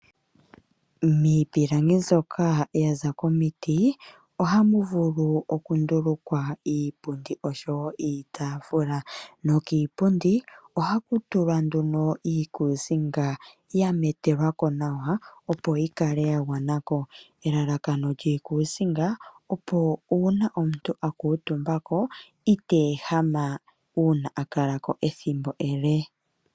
Miipilangi nzoka yaza komiti ohamu vulu oku ndulukwa iipundi oshowo iitafula nokiipundi ohaku tulwa nduno iikusinga ya metelwako nawa opo yikale ya gwanako. Elalakano lyiikusinga opo uuna omuntu a kuuntumbako ita ehama uuna akala ethimbo ele.